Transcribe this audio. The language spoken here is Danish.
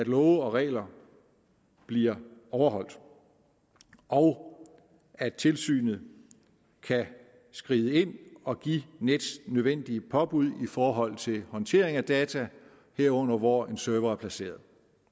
love og regler bliver overholdt og at tilsynet kan skride ind og give nets de nødvendige påbud i forhold til håndtering af data herunder hvor en server er placeret